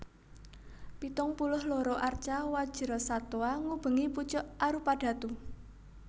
Pitung puluh loro arca Wajrasattwa ngubengi pucuk arupadhatu